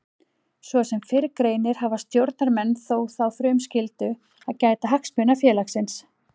Svo sem fyrr greinir hafa stjórnarmenn þó þá frumskyldu að gæta hagsmuna félagsins.